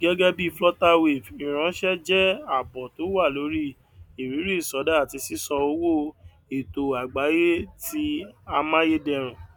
gẹgẹ bíi flutterwave ìránṣẹ jẹ àbọ tó wà lórí ìrírí ìsọdá àti sísan owó ètò àgbáyé ti amáyédẹrùn